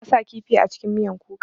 Bana sa kifi a cikin miyan kuka.